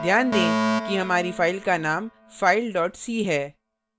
ध्यान दें कि हमारी फाइल का नाम filec है